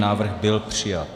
Návrh byl přijat.